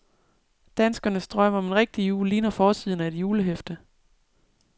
Danskernes drøm om en rigtig jul ligner forsiden af et julehæfte.